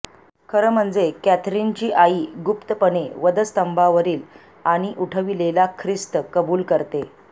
खरं म्हणजे कॅथरीनची आई गुप्तपणे वधस्तंभावरील आणि उठविलेला ख्रिस्त कबूल करते